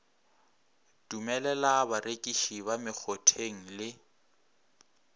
dumelela barekiši ba mekgotheng le